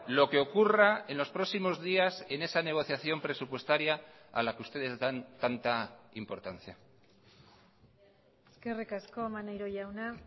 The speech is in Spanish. lo que ocurra en los próximos días en esa negociación presupuestaria a la que ustedes dan tanta importancia eskerrik asko maneiro jauna